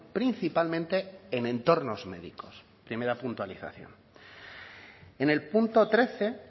principalmente en entornos médicos primera puntualización en el punto trece